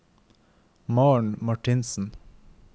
Maren Martinsen